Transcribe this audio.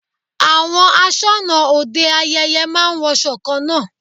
Àwọn aṣọnà òde ayẹyẹ máa ń wọṣọ kan náà.